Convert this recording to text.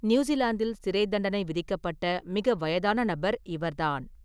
நியூசிலாந்தில் சிறைத்தண்டனை விதிக்கப்பட்ட மிக வயதான நபர் இவர்தான்.